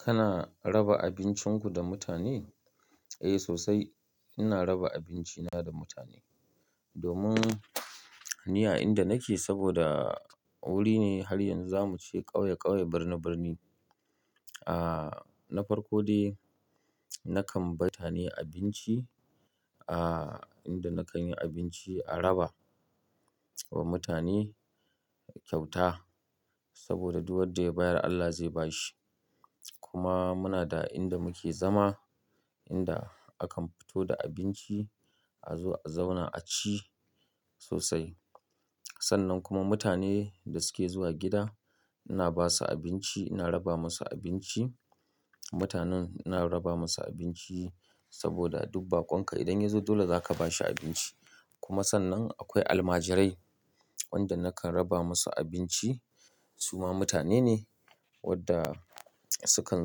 Kana raba abincinku da mutane? Eh sosai. Ina raba abinci na da mutane. Domin ni a inda nake saboda wuri ne har yanzu zamu ce ƙauye ƙauye birni birni. Aaa, na farko dai nakan bai mutane abinci. Aaa, inda nakanyi abinci a raba wa mutane kyauta. Saboda duk wadda ya bayar Allah zai bashi. Kuma muna da inda muke zama inda akan fito da abinci a zo a zauna a ci sosai. Sannan kuma mutane da suke zuwa gida ina basu abinci ina raba masu abinci. Mutanen ina raba masu abinci saboda duk baƙonka idan yazo dole zaka bashi abinci. Kuma sannan akwai almajirai wanda nakan raba masu abinci. Su ma mutane ne wadda sukan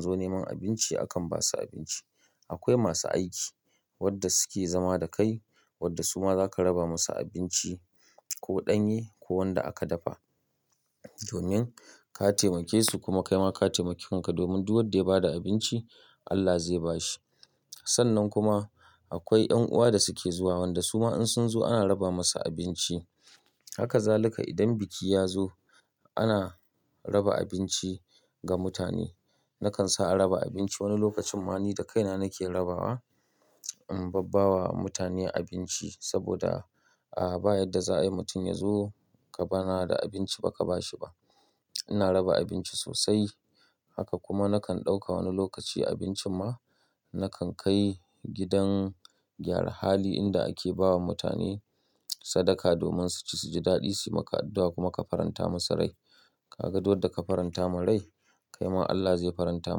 zo neman abinci akan basu abinci. Akwai masu aiki wadda suke zama da kai wadda su ma zaka raba musu abinci. Ko ɗanye ko wanda aka dafa. Domin ka taimake su kuma kaima ka taimaki kanka domin duk wadda ya bada abinci Allah zai bashi. Sannan kuma akwai ƴan uwa da suke zuwa wanda su ma in sun zo ana raba masu abinci. Haka zalika idan biki yazo ana raba abinci ga mutane. Nakan sa a raba abinci wani lokacin ma ni da kaina nake rabawa. In babba wa mutane abinci saboda a ba yadda za'a yi mutum yazo kana da abinci baka bashi ba. Ina raba abinci sosai. Haka kuma nakan ɗauka wani lokaci abincin ma nakan kai gidan gyara hali inda ake bawa mutane sadaka domin su ci suji daɗi suyi maka addu'a kuma ka faranta musu rai. Ka ga duk dadda ka faranta ma rai kaima Allah zai faranta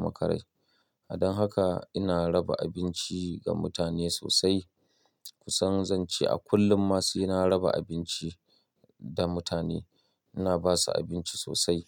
maka rai. Don haka ina raba abinci ga mutane sosai. Kusan zan ce a kullum ma sai na raba abinci da mutane. Ina basu abinci sosai.